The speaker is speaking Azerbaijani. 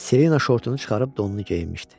Selina şortunu çıxarıb donunu geyinmişdi.